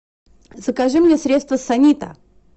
закажи мне средство санита